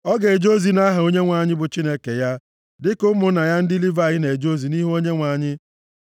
ọ ga-eje ozi nʼaha Onyenwe anyị bụ Chineke ya dịka ụmụnna ya ndị Livayị na-eje ozi nʼihu Onyenwe anyị.